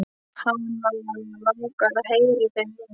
Hana langar að heyra í þeim núna.